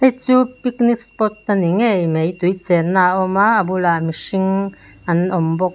hei chu picnic spot a ni ngei mai tui chenna a awm a a bulah mihring an awm bawk.